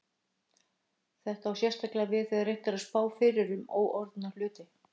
Þetta á sérstaklega við þegar reynt er að spá fyrir um óorðna hluti.